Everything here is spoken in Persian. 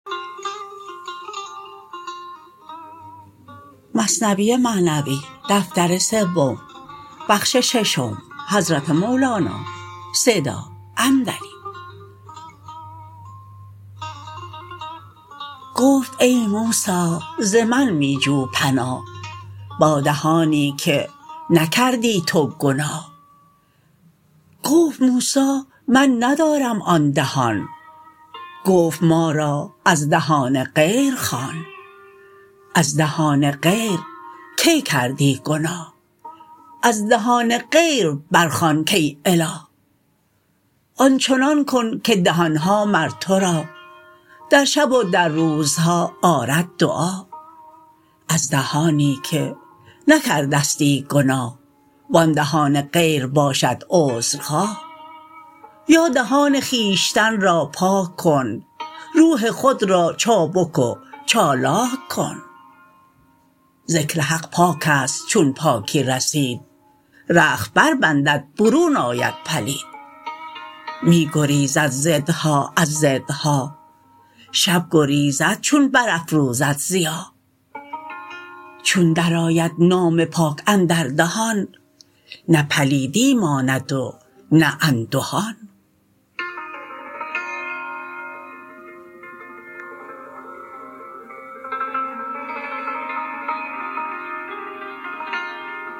گفت ای موسی ز من می جو پناه با دهانی که نکردی تو گناه گفت موسی من ندارم آن دهان گفت ما را از دهان غیر خوان از دهان غیر کی کردی گناه از دهان غیر بر خوان کای اله آنچنان کن که دهان ها مر تو را در شب و در روزها آرد دعا از دهانی که نکرده ستی گناه و آن دهان غیر باشد عذر خواه یا دهان خویشتن را پاک کن روح خود را چابک و چالاک کن ذکر حق پاکست چون پاکی رسید رخت بر بندد برون آید پلید می گریزد ضدها از ضدها شب گریزد چون بر افروزد ضیا چون در آید نام پاک اندر دهان نه پلیدی ماند و نه اندهان